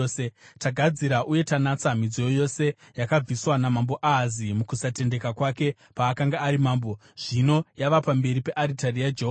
Tagadzira uye tanatsa midziyo yose yakabviswa naMambo Ahazi mukusatendeka kwake paakanga ari mambo. Zvino yava pamberi pearitari yaJehovha.”